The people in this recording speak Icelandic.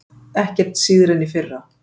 Ekkert síðra en í fyrra